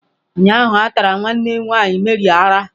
Ụnyahụ a tara nwanne nwanyị Mary ara.